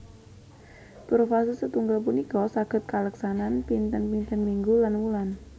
Profase setunggal punika saged kaleksanan pinten pinten minggu lan wulan